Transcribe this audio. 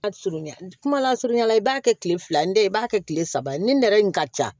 Surunya kuma la surunya la i b'a kɛ kile fila in tɛ i b'a kɛ kile saba ye ni nɛrɛ in ka ca